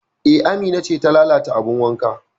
E, Amina ce ta lalata abin wankan